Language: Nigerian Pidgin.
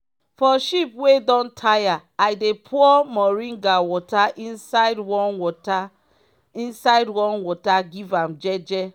for sheep wey don tire i dey pour moring water inside warm water inside warm water give am jeje.